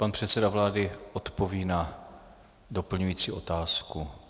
Pan předseda vlády odpoví na doplňující otázku.